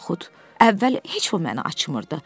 Və yaxud, əvvəl heç o məni açmırdı.